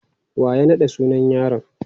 Wa ya naɗa sunan yaron?